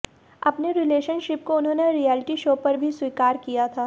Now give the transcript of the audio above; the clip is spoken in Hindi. अपने रिलेशनशिप को उन्होंने रिएलिटी शो पर भी स्वीकार किया था